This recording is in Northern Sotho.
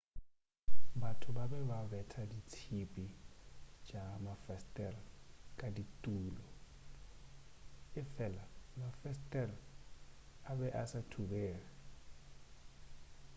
batho ba be ba betha ditšhipi tša mafesetere ka ditulo efela mafesetere a be a sa thubege